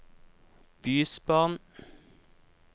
bysbarn